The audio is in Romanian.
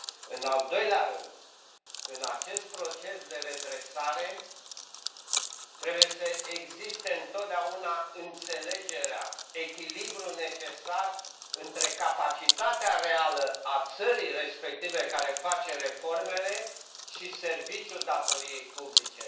În al doilea rând, în acest proces de redresare, trebuie să existe întotdeauna înțelegerea, echilibrul necesar între capacitatea reală a țării respective care face reformele și serviciul datoriei publice.